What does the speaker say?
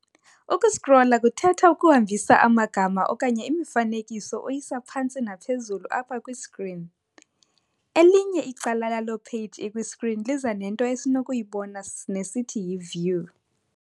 "Uku-scrolla" kuthetha ukuhambisa amagama okanye imifanekiso uyisa phantsi naphezulu apha kwi-screen, elinye icala lalo-page ikwi-screen liza nento esinokuyibona nesithi yi-view.